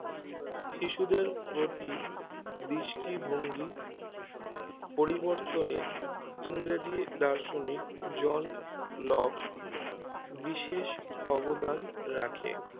শিশুদের প্রতি দৃষ্টিভঙ্গি পরিবর্তনে ইংরেজি দার্শনিক জন লক বিশেষ অবদান রাখে